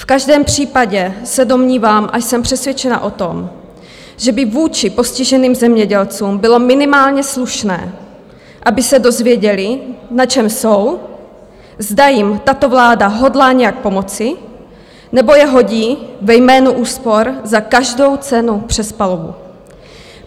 V každém případě se domnívám a jsem přesvědčena o tom, že by vůči postiženým zemědělcům bylo minimálně slušné, aby se dozvěděli, na čem jsou, zda jim tato vláda hodlá nějak pomoci, nebo je hodí ve jménu úspor za každou cenu přes palubu.